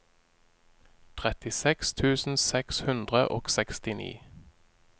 trettiseks tusen seks hundre og sekstini